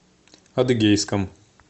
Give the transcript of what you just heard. адыгейском